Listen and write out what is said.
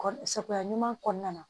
Kɔ sagoya ɲuman kɔnɔna na